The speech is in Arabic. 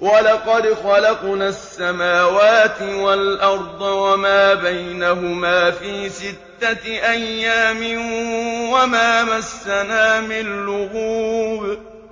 وَلَقَدْ خَلَقْنَا السَّمَاوَاتِ وَالْأَرْضَ وَمَا بَيْنَهُمَا فِي سِتَّةِ أَيَّامٍ وَمَا مَسَّنَا مِن لُّغُوبٍ